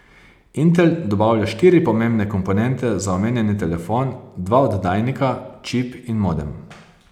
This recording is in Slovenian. Intel dobavlja štiri pomembne komponente za omenjeni telefon, dva oddajnika, čip in modem.